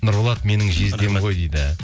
нұрболат менің жездем ғой дейді